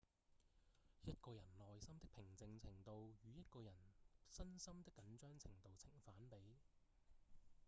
一個人內心的平靜程度與一個人身心的緊張程度呈反比